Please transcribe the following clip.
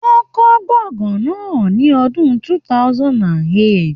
Wọ́n kọ́ gbọ̀ngán náà ní ọdún 2008.